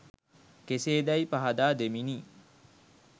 කෙසේදැයි පහදා දෙමිනි